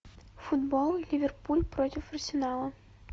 футбол ливерпуль против арсенала